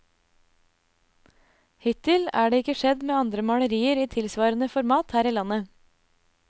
Hittil er det ikke skjedd med andre malerier i tilsvarende format her i landet.